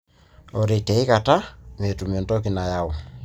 ore tiaikata metumi entoki nayau.